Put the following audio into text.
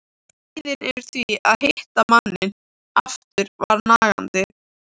Kvíðinn yfir því að hitta manninn aftur var nagandi.